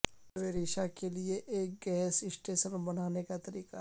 گھر میں ریشہ کے لئے ایک گیس اسٹیشن بنانے کا طریقہ